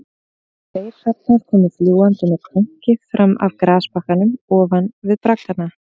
Tveir hrafnar komu fljúgandi með krunki fram af grasbakkanum ofan við braggana